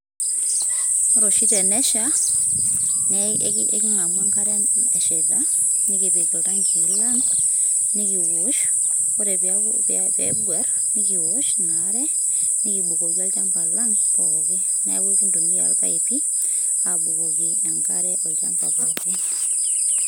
ore oshi tenesha ,na ekingamu enkare eshaita, nikipik iltanki lang, nikiosh ore peyie nguar ,nikiosh ina are nikibokiki olchamba lang pooki niaku ikintumia ilpaipi, abukoki enkare olchamba pooki.